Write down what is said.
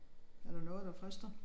Er der noget der frister?